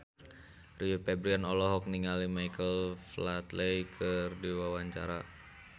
Rio Febrian olohok ningali Michael Flatley keur diwawancara